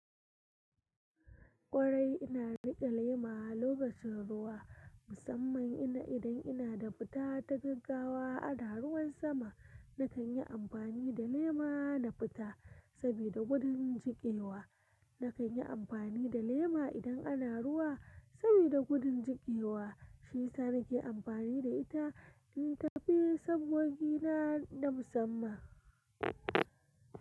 Ƙwarai ina riƙe lema lokacin ruwa, musamman inda idan ina da fita ta gaggawa ana ruwan sama. Nakan yi amfani da lema na fita, sabida gudun cikin ruwa na kan yi amfani da lema idan ana ruwa sabida gudu jikewa. Shi sa na ke amfani da ita in tafi sabogina na musamman.